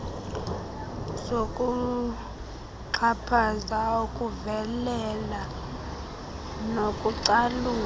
zokuxhaphaza ukuvelela nokucalula